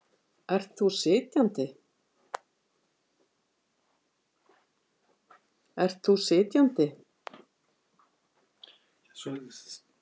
Ert þú sitjandi?